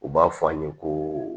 U b'a fɔ an ye ko